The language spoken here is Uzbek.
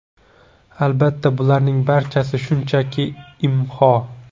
Albatta, bularning barchasi shunchaki IMHO.